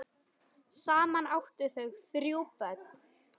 Saman áttu þau þrjú börn.